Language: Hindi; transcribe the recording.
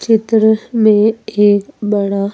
चित्रह में एक बड़ा --